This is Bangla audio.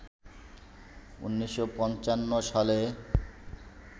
১৯৫৫ সালে